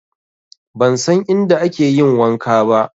Ban san inda ake yin wanka ba